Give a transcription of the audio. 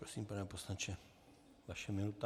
Prosím, pane poslanče, vaše minuta.